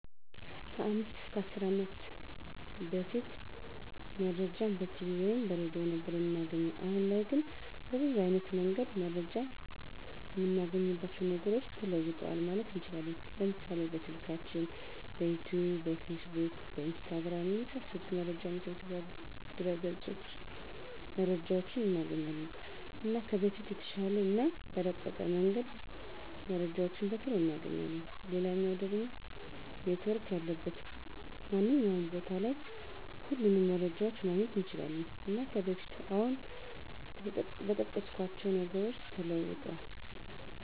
ከ 5 ወይም 10 አመት በፊት መረጃን በቲቪ ወይም በሬድዮ ነበር እምናገኘዉ። አሁን ላይ ግን በብዙ አይነት መንገድ መረጃን እምናገኝባቸዉ ነገሮች ተለዉጠዋል ማለት እንችላለን፤ ለምሳሌ፦ በስልካችን፣ በዩቱዩብ፣ በፌስቡክ፣ በኢንስታግራም፣ የመሳሰሉት መረጃ መሰብሰቢያ ድረገፆች መረጃዎችን እናገኛለን። እና ከበፊቱ በተሻለ እና በረቀቀ መንገድ መረጃዎችን በቶሎ እናገኛለን፣ ሌላኛዉ ደሞ ኔትዎርክ ያለበት ማንኛዉም ቦታ ላይ ሁሉንም መረጃዎችን ማግኘት እንችላለን። እና ከበፊቱ አሁን በጠቀስኳቸዉ ነገሮች ተለዉጧል።